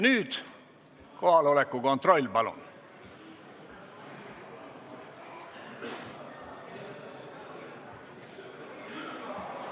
Nüüd kohaloleku kontroll, palun!